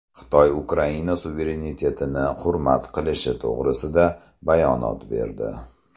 Xitoy Ukraina suverenitetini hurmat qilishi to‘g‘risida bayonot berdi.